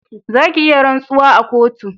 Za ki iya rantsuwa a kotu